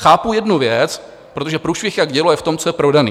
Chápu jednu věc, protože průšvih jak dělo je v tom, co je prodané.